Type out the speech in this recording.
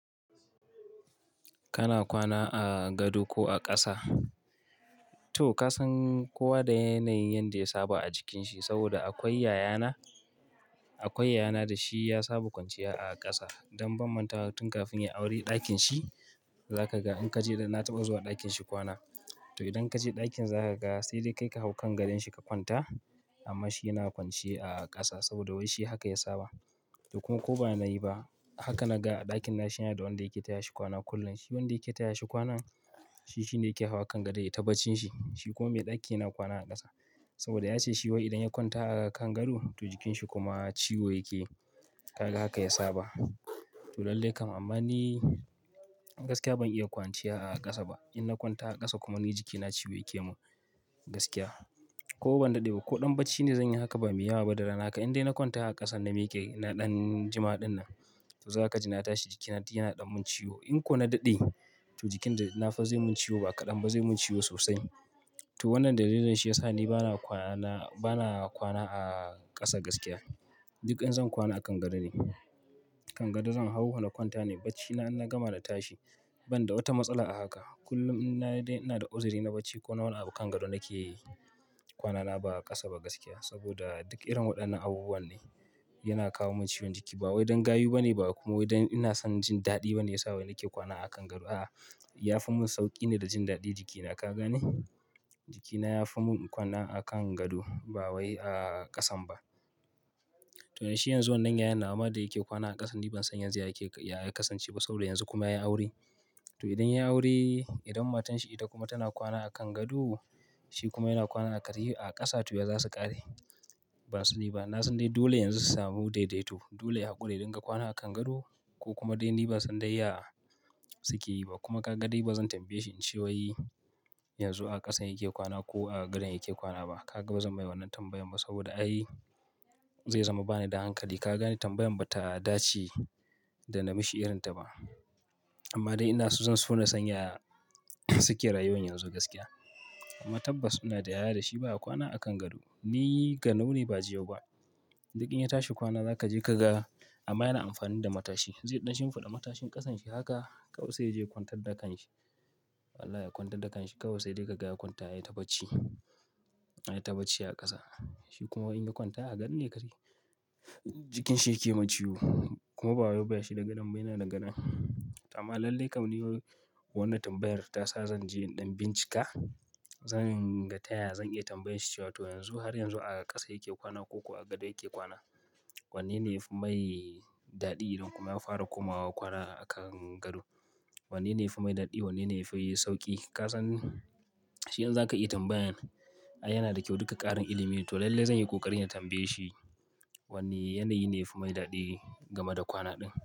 Kana kwana a gado ko a ƙasa? To ka san kowa da yanayin yanda ya saba a jikinsa saboda akwai yayana, akwai yayana da shi ya saba kwanciya a ƙasa don ban mantawa tun kafin ya yi aure ɗakin shi za ka ga in ka je na taɓa zuwa ɗakin shi kwana. To idan ka je ɗakin za ka ga sai dai kai ka hau kan gadon shi ka kwanta amma shi yana kwanciya a ƙasa saboda wai shi haka ya saba. To kuma ko ba na yi ba haka na ga a ɗakin na shi yana da wanda yake taya shi kwana kullum. Shi wanda yake taya shi kwana shi shine yake hawa kan gado ya yi ta bacci shi. Shi kuma mai ɗakin yana kwana a ƙasa saboda ya ce shi wai idan ya kwanta a kan gado to jikinsa kuma ciwo yake. Ka ga haka ya saba. To lallai kam amma ni gaskiya ban iya kwanciya a ƙasa ba. In na kwanta a ƙasa kuma ni jikina ciwo yake mun gaskiya. Ko ban daɗe ba ko ɗan bacci ne zan yi haka ba mai yawa ba da rana aka. In dai na kwanta a ƙasa na miƙe na ɗan jima ɗin nan to za ka ji na tashi jikina duk yana ɗau mun ciwo. In ko na daɗe to jikin da na fa zaiyi mun ciwo ba kaɗan ba zai mun ciwo sosai. To wannan dalilin shi ya sa ni bana kwana, bana kwana a ƙasa gaskiya. Duk in zan kwana a kan gado ne. Kan gado zan hau na kwanta ne bacci na in na gama na tashi ban da wata matsala a haka. Kullum in ina da uzuri na bacci ko nawa abu kan gado nake yi kwana ba'a ƙasa ba gaskiya saboda duk irin waɗannan abubuwa ne yana kawo mun ciwon jiki ba wai don gayu ba ne ba kuma wai don ina son jin daɗi ba ne ya sa wai nake kwana a kan gado. A'a, ya fi mun sauƙi ne da jin daɗi jikina ka gane? Jikina ya fi mun kwana a kan gado ba wai a ƙasan ba. To shi yanzu wannan yayan nawa ma da yake kwana a ƙasa ni ban san yanzu ya kasance ba saboda yanzu kuma yayi aure. To idan ya yi aure, idan matan shi ita kuma tana kwana a kan gado shi kuma yana kwana a ƙasa to ya za su ƙare? Ban sani ba. Na san dai dole yanzu su sami daidaito. Dole ya hakura ya dinga kwana a kan gado ko kuma dai ni ba zan dai ya suke yi ba kuma ka ga dai ba zan tambaye shi in ce wai yanzu a ƙasan yake kwana ko a gadon yake kwana ba. Ka ga ba zan mai wannan tambayar ba saboda ai zai zama ba ni da hankali. Ka gane tambayar ba ta dace da nami shi irin ta ba. Amma dai ina so zan so na san ya suke rayuwa yanzu gaskiya. Amma tabbas suna da yaya da shi ba ya kwana a kan gado. Ni ganau ne ba jiyau ba. Duk in ya tashi kwana za ka je ka ga amma yana amfani da matashi. Zai ɗan shimfiɗa matashin ƙasan shi haka kawai sai ya je ya kwantar da kan shi. Allah ya kwantar da kan shi kawai sai dai ka ga ya kwanta ya yi ta bacci, ya yi ta bacci a ƙasa. Shi kuma in ya kwanta a gado ne kaɗai jikin shi yake mun ciwo kuma bawai ba shida gadon bane yana da gadon. Amma lallai kam ni wannan tambayar ta sa zan je in ɗan bincika, zan rika taya zan iya tambaye shi cewa to yanzu har yanzu a ƙasa yake kwana ko kuwa a gado yake kwana. Wanne ne ya fi mai daɗi idan kuma ya fara komawa kwana a kan gado? Wanne ne ya fi mai daɗi? Wanne ne ya fi sauƙi? Ka san shi in za ka yi tambayan ai yana da kyau duka ƙarin ilimi. To lallai zan yi ƙoƙari na tambaye shi wanne yanayi ne ya fi mai daɗi game da kwana ɗin.